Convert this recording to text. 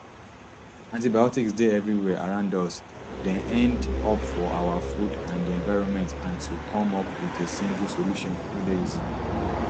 antibiotics dey evriwia around us dem end up for our food and di environment and to come up wit a single solution no dey easy